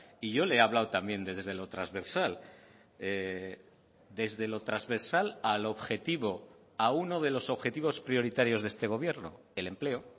y yo le he hablado también desde lo transversal desde lo transversal al objetivo a uno de los objetivos prioritarios de este gobierno el empleo